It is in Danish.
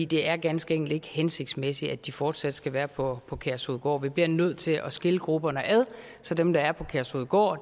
det er ganske enkelt ikke hensigtsmæssigt at de fortsat skal være på på kærshovedgård vi bliver nødt til at skille grupperne ad så dem der er på kærshovedgård